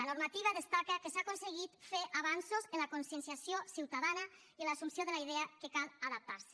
la normativa destaca que s’ha aconseguit fer avanços en la conscienciació ciutadana i en l’assumpció de la idea que cal adaptarse